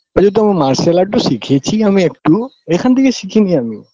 এইযে তোম martial art -ও শিখেছি আমি একটু এখান থেকে শিখিনি আমি